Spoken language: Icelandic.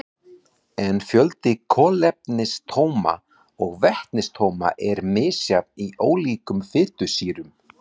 En fjöldi kolefnisatóma og vetnisatóma er misjafn í ólíkum fitusýrum.